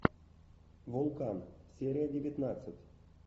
вулкан серия девятнадцать